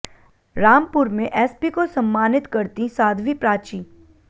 रामपुर में एसपी को सम्मानित करतीं साध्वी प्राची